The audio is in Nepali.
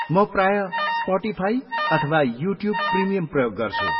म प्राय स्पटिफाई अथवा युट्युब प्रिमियम प्रयोग गर्छु।